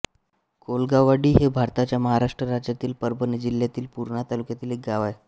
कौलगाववाडी हे भारताच्या महाराष्ट्र राज्यातील परभणी जिल्ह्यातील पूर्णा तालुक्यातील एक गाव आहे